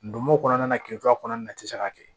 Ndomo kɔnɔna na kile fila kɔnɔna na i ti se ka kɛ